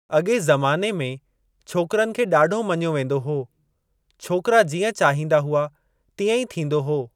अॻे ज़माने में छोकरनि खे ॾाढो मञो वेंदो हो छोकरा जीअं चाहींदा हुआ तीएं ई थींदो हो।